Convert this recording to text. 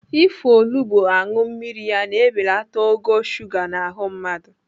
Ịfụ olugbo aṅụ mmiri ya na-ebelata ogo shuga n'ahụ mmadụ.